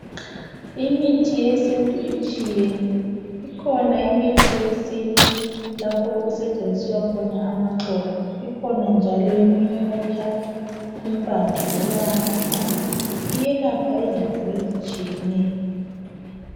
Imithi yesintu itshiyene ikhona imithi yesintu lapho okusetsenziswa khona amaxolo ikhona njalo eminye okuthathwa impande loba amahlamvu iyelapha izifo ezitshiyeneyo